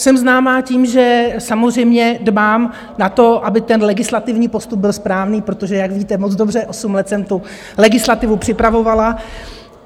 Jsem známá tím, že samozřejmě dbám na to, aby ten legislativní postup byl správný, protože, jak víte moc dobře, osm let jsem tu legislativu připravovala.